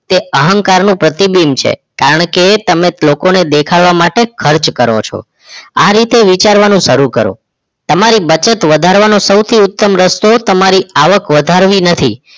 તે અહંકારનું પ્રતિબિંબ છે કારણ કે તમે લોકોને દેખાડવા માટે જ ખર્ચ કરો છો આ રીતે વિચારવાનું શરૂ કરો તમારી બચત વધારવા નો સૌથી ઉત્તમ રસ્તો તમારી આવક વધારવી નથી